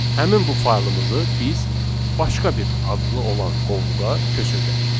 Həmin bu faylımızı biz başqa bir adlı olan qovluğa köçürdək.